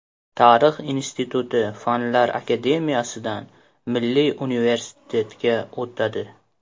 Tarix instituti Fanlar akademiyasidan Milliy universitetga o‘tadi.